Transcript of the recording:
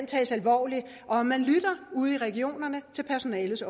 tages alvorligt og at man lytter ude i regionerne til personalets